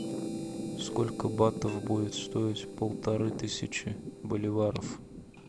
сколько батов будет стоить полторы тысячи боливаров